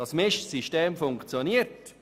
Das Mischsystem funktioniert.